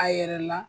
A yɛrɛ la